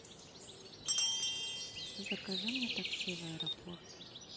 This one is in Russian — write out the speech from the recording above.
закажи мне такси в аэропорт